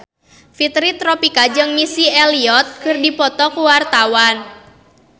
Fitri Tropika jeung Missy Elliott keur dipoto ku wartawan